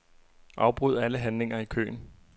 Afbryd alle handlinger i køen.